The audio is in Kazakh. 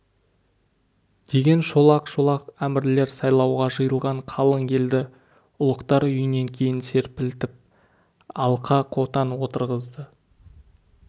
деген шолақ-шолақ әмірлер сайлауға жиылған қалың елді ұлықтар үйінен кейін серпілтіп алқа-қотан отырғызды